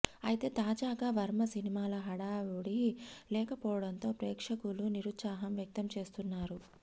అయితే తాజాగా వర్మ సినిమాల హడావుడి లేకపోవడంతో ప్రేక్షకులు నిరుత్సాహం వ్యక్తం చేస్తున్నారు